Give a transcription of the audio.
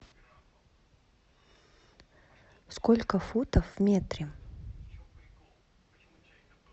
сколько футов в метре